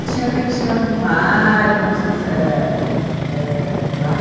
Tinha a Cantina do Mário, nós íamos ãh ãh lá.